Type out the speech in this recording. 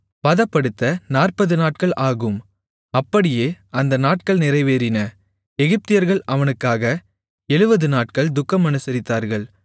பதப்படுத்த 40 நாட்கள் ஆகும் அப்படியே அந்த நாட்கள் நிறைவேறின எகிப்தியர்கள் அவனுக்காக 70 நாட்கள் துக்கம் அனுசரித்தார்கள்